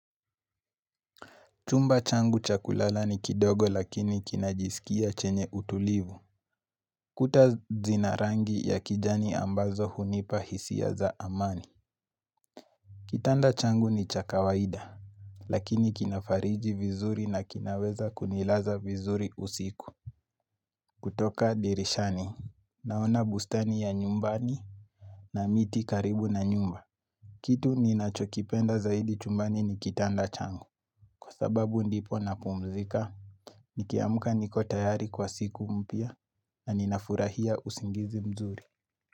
Chumba changu cha kulala ni kidogo lakini kinajisikia chenye utulivu Kuta zina rangi ya kijani ambazo hunipa hisia za amani Kitanda changu ni cha kawaida Lakini kinafariji vizuri na kinaweza kunilaza vizuri usiku kutoka dirishani Naona bustani ya nyumbani na miti karibu na nyumba Kitu ninacho kipenda zaidi chumbani ni kitanda changu Kwa sababu ndipo napumzika Nikiamka niko tayari kwa siku mpya na ninafurahia usingizi mzuri.